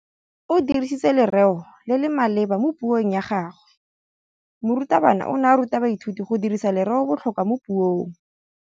O dirisitse lerêo le le maleba mo puông ya gagwe. Morutabana o ne a ruta baithuti go dirisa lêrêôbotlhôkwa mo puong.